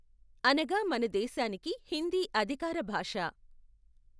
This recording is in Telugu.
అనగా మన దేశానికి హిందీ అధికార భాష.